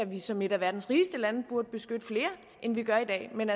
vi som et af verdens rigeste lande burde beskytte flere end vi gør i dag men